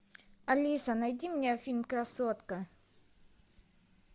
алиса найди мне фильм красотка